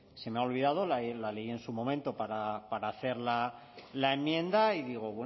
se me ha olvidado la leí en su momento para hacer la enmienda y digo